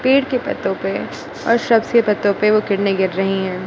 पेड़ के पत्तों पे और सबसे पत्तों पे वे किरने गिर रही हैं।